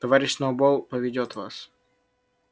товарищ сноуболл поведёт вас